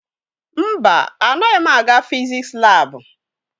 Mba, anaghị m aga fiziks laabụ.